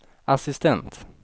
assistent